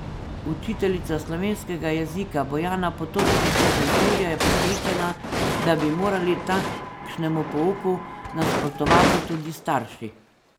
Učiteljica slovenskega jezika Bojana Potočnik iz Šentjurja je prepričana, da bi morali takšnemu pouku nasprotovati tudi starši.